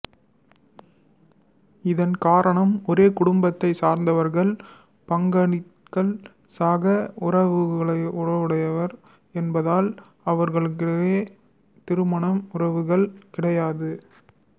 இதன் காரணம் ஒரே குடும்பத்தைச் சார்ந்தவர்கள் பங்காளிகள் சக உறவுடையவர் என்பதால் அவர்களுக்கிடையில் திருமண உறவுகள் கிடையாது